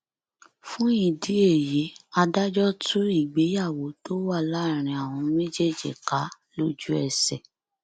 fún ìdí èyí adájọ tú ìgbéyàwó tó wà láàrin àwọn méjèèjì ká lójúẹsẹ